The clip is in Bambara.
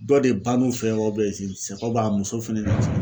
Dɔ de ban'u fɛ yen wa muso fɛnɛ